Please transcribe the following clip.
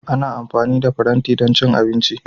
Ana amfani da faranti don cin abinci.